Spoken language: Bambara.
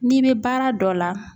N'i be baara dɔ la